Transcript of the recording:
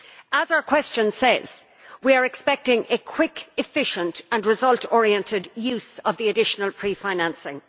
As our question says, we are expecting a quick, efficient and result oriented use of the additional pre financing.